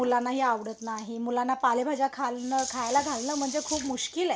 मुलानाही आवडत नाही मुलांना पालेभाज्या खान खाल्यला घालण म्हणजे खूप मुश्कील आहे